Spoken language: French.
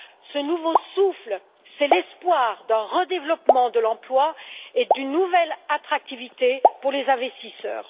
Ce nouveau souffle, c'est l'espoir d'un redéveloppement de l'emploi et d'une nouvelle attractivité pour les investisseurs.